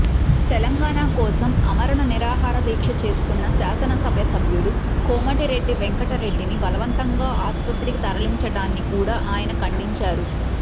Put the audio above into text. తెలంగాణ కోసం ఆమరణ నిరాహార దీక్ష చేస్తున్న శాసనసభ్యుడు కోమటిరెడ్డి వెంకటరెడ్డిని బలవంతంగా ఆస్పత్రికి తరలించడాన్ని కూడా ఆయన ఖండించారు